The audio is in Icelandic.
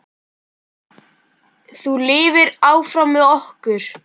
Þú lifir áfram með okkur.